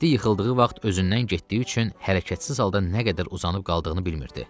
Mehdi yıxıldığı vaxt özündən getdiyi üçün hərəkətsiz halda nə qədər uzanıb qaldığını bilmirdi.